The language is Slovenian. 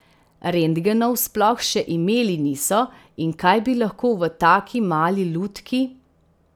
Rentgenov sploh še imeli niso in kaj bi lahko v taki mali lutki ...